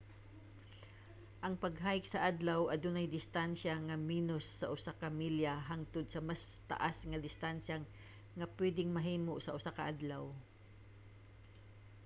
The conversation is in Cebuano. ang pag-hike sa adlaw adunay distansya nga menos sa usa ka milya hangtod sa mas taas nga distansya nga pwedeng mahimo sa usa ka adlaw